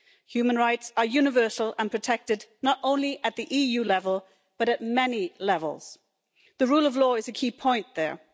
Human rights are universal and protected not only at the EU level, but at many levels. The rule of law is a key point there.